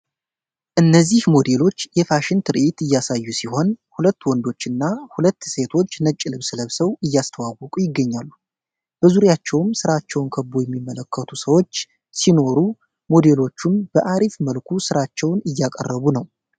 እነዚህ ሞዴሎች የፋሽን ትርዒት እያሳዩ ሲሆን ሁለት ወንዶችና ሁለት ሴቶች ነጭ ልብስ ለብሰው አያስተዋወቁ ይገኛሉ። በዙሪያቸውም ስራቸውን ከቦ የሚመለከቱ ሰዎች ሲኖሩ ሞዴሎቹም በአሪፍ መልኩ ስራቸውን እያቀረቡ ነው።